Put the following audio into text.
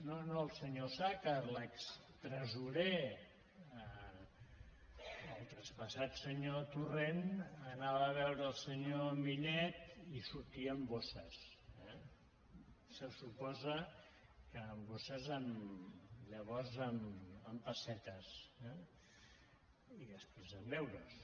no no el senyor osàcar l’extresorer el traspassat senyor torrent anava a veure el senyor millet i sortia amb bosses eh se suposa que amb bosses llavors amb pessetes eh i després amb euros